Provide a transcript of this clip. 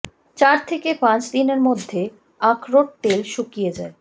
চার থেকে পাঁচ দিনের মধ্যে আখরোট তেল শুকিয়ে যায়